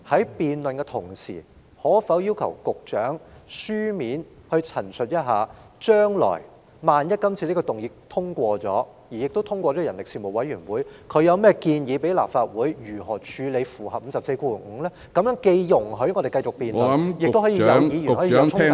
主席，在進行辯論的同時，可否要求局長以書面陳述，若這項議案獲得通過，而《條例草案》亦交付人力事務委員會討論後，他會向立法會提出甚麼建議安排，以符合《議事規則》第545條的規定呢？